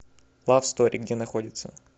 лав стори где находится